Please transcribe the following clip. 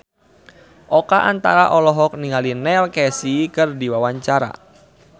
Oka Antara olohok ningali Neil Casey keur diwawancara